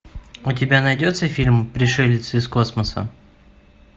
у тебя найдется фильм пришелец из космоса